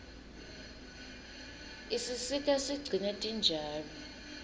isisita sigcine tinjalo